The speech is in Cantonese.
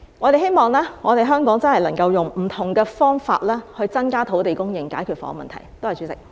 我們希望香港真的能夠用不同方法來增加土地供應，以解決房屋問題。